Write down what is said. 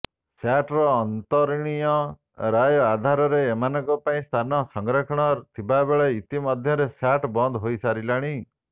ସ୍ୟାଟ୍ର ଅନ୍ତରୀଣ ରାୟ ଆଧାରରେ ଏମାନଙ୍କ ପାଇଁ ସ୍ଥାନ ସଂରକ୍ଷଣ ଥିବାବେଳେ ଇତି ମଧ୍ୟରେ ସ୍ୟାଟ୍ ବନ୍ଦ ହୋଇସାରିଲାଣି